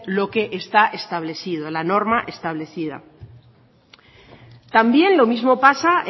lo que está establecido la norma establecida también lo mismo pasa